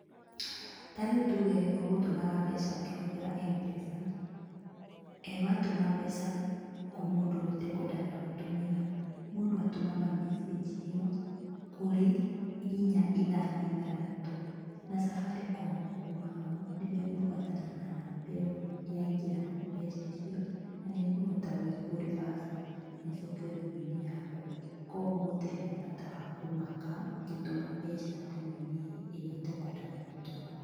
Tarĩu tuge ũgũtũmaga mbeca ũkĩhũthĩra M-pesa, watũma mbeca kwĩ mũndũ ũrĩa ũtakwendaga gũtũmĩra, mũndũ atũmaga message ĩyo kũrĩ inya ithano ithathatũ na Safaricom kuma hau, nĩmegũbuatana na namba ĩyo yaingĩra mbeca icio na nĩikũhota gwikwo reversal na icokio thimũ-inĩ yaku. Koguo gũtirĩ na bata wa kũmaka ũngĩtũma mbeca thimũ-inĩ ĩrĩa ũtakwendaga gũtũma.